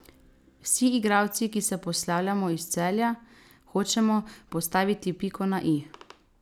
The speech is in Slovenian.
Vsi igralci, ki se poslavljamo iz Celja, hočemo postaviti piko na i.